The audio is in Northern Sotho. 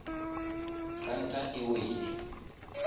ranta e wele